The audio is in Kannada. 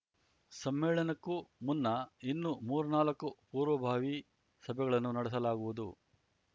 ಸಮ್ಮೇಳನಕ್ಕೂ ಮುನ್ನ ಇನ್ನು ಮೂರ್ನಾಲ್ಕು ಪೂರ್ವಭಾವಿ ಸಭೆಗಳನ್ನು ನಡೆಸಲಾಗುವುದು